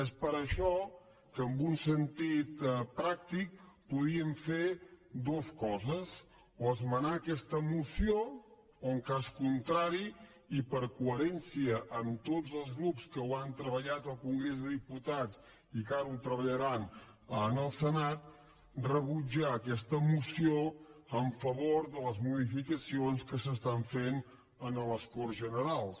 és per això que en un sentit pràctic podíem fer dues coses o esmenar aquesta moció o en cas contrari i per coherència amb tots els grups que ho han treballat al congrés de diputats i que ara ho treballaran al senat rebutjar aquesta moció en favor de les modificacions que es fan en les corts generals